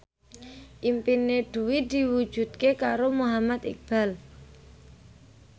impine Dwi diwujudke karo Muhammad Iqbal